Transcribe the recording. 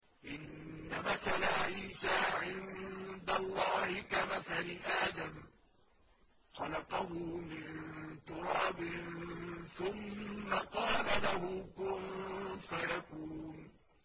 إِنَّ مَثَلَ عِيسَىٰ عِندَ اللَّهِ كَمَثَلِ آدَمَ ۖ خَلَقَهُ مِن تُرَابٍ ثُمَّ قَالَ لَهُ كُن فَيَكُونُ